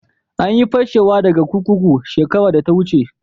An yi fashewa daga kurkuku shekaran da ta wuce.